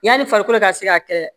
Yanni farikolo ka se ka kɛlɛ